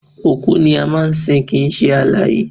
Òkú ni wọ́n máa ń sin kìí ṣe alààyè